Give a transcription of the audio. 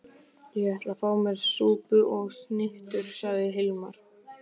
Ég ætla að fá mér súpu og snittur, sagði Hilmar.